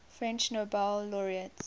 french nobel laureates